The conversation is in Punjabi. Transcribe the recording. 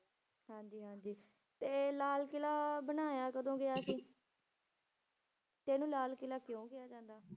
ਹਾਂਜੀ ਹਾਂਜੀ ਤੇ ਲਾਲ ਕਿਲ੍ਹਾ ਬਣਾਇਆ ਕਦੋਂ ਗਿਆ ਸੀ ਤੇ ਇਹਨੂੰ ਲਾਲ ਕਿਲ੍ਹਾ ਕਿਉਂ ਕਿਹਾ ਜਾਂਦਾ?